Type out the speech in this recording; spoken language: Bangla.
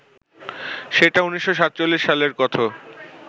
সেটা ১৯৪৭ সালের কথ